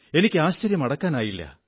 എനിക്ക് ആശ്ചര്യം അടക്കാനായില്ല